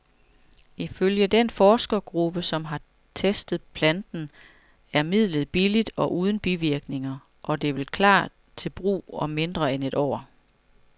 Ifølge den forskergruppe, som har testet planten, er midlet billigt og uden bivirkninger, og det vil klar til brug om mindre end et år.